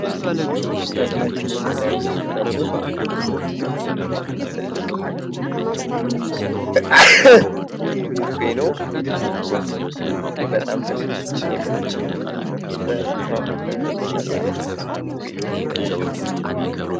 ይህ ከፊታችን የምናየው ደግሞ ትልቅ ቡፌ ነው። በጣም ደስ የሚል በአማካሪ የተሰራ ምስል ያሳየናል።